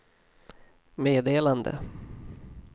meddelande